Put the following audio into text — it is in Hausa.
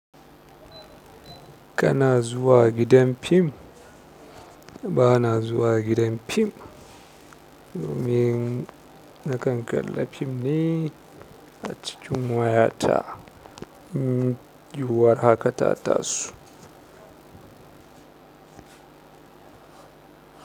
Kana zuwa gidan fim? Ba na zuwa gidan fim. Ni na kan kalla fim ne a cikin wayata. Yiwuwar haka ta taso.